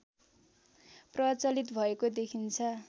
प्रचलित भएको देखिन्छ